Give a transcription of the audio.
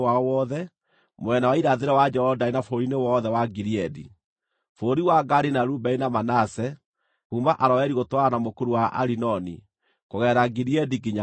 mwena wa irathĩro wa Jorodani na bũrũri-inĩ wothe wa Gileadi, (Bũrũri wa Gadi na Rubeni na Manase), kuuma Aroeri gũtwarana na mũkuru wa Arinoni, kũgerera Gileadi nginya Bashani.